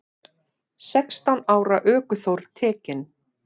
Sextán ára ökuþór tekinn